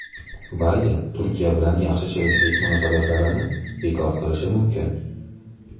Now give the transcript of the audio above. Bayden Turkiya bilan yaxshi sherikchilik munosabatlarini bekor qilishi mumkin.